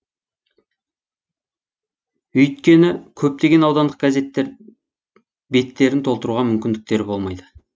өйткені көптеген аудандық газеттер беттерін толтыруға мүмкіндіктері болмайды